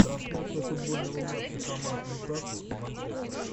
трансляция футбольного матча команд ньюкасл и манчестер